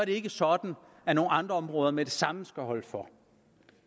ikke sådan at nogle andre områder med det samme skal holde for